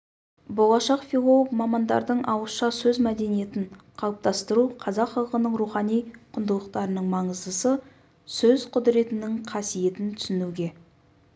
болашақ филолог мамандардың ауызша сөз мәдениетін қалыптастыру қазақ халқының рухани құндылықтарының маңыздысы сөз құдіретінің қасиетін түсінуге